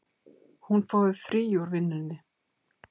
Hún fái frí úr vinnunni.